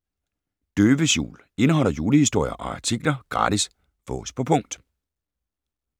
Døves jul Indeholder julehistorier og artikler. Gratis. Fås på punkt